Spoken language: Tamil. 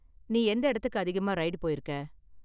நீ எந்த இடத்துக்கு அதிகமா ரைடு போயிருக்க?